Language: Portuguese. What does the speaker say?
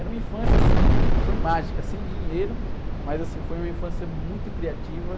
Era uma infância, assim, foi mágica, sem dinheiro, mas, assim, foi uma infância muito criativa.